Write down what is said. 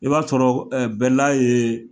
I b'a sɔrɔ bɛla ye